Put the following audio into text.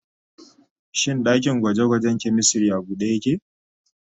Shin dakin gwaje-gwajen chemistry a bude yake?